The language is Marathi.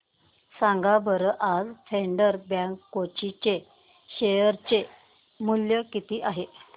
सांगा बरं आज फेडरल बँक कोची चे शेअर चे मूल्य किती आहे